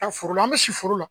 A foro la an bɛ si foro la